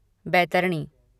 Baitarani